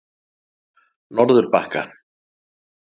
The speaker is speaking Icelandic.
Norðurbakka